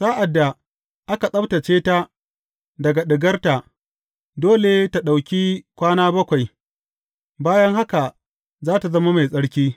Sa’ad da aka tsabtacce ta daga ɗigarta, dole tă ɗauki kwana bakwai, bayan haka za tă zama mai tsarki.